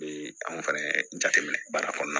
Be anw fɛnɛ jateminɛ baara kɔnɔna